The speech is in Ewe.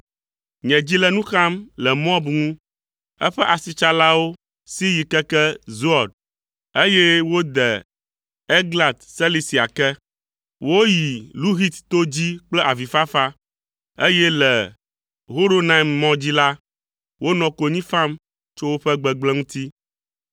Nye dzi le nu xam le Moab ŋu. Eƒe aʋasilawo si yi keke Zoar, eye wode Eglat Selisia ke. Woyi Luhit to dzi kple avifafa, eye le Horonaim mɔ dzi la, wonɔ konyi fam tso woƒe gbegblẽ ŋuti.